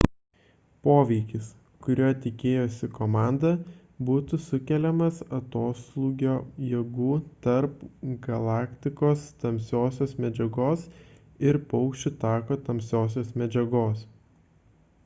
poveikis kurio tikėjosi komanda būtų sukeliamas atoslūgio jėgų tarp galaktikos tamsiosios medžiagos ir paukščių tako tamsiosios medžiagos